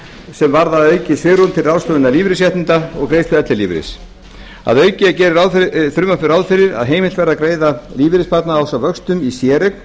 sem varða aukið svigrúm til ráðstöfunar lífeyrisréttinda og greiðslu ellilífeyris að auki gerir frumvarpið ráð fyrir að heimilt verði að greiða lífeyrissparnað ásamt vöxtum í séreign